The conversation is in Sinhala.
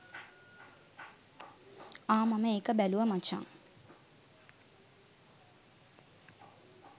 අහ් මම ඒක බැලුව මචං